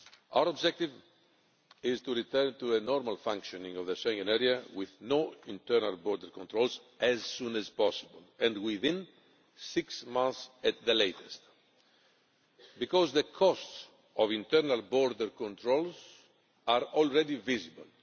Our objective is to return to a normal functioning of the Schengen Area with no internal border controls as soon as possible and within six months at the latest because the costs of internal border controls are already visible.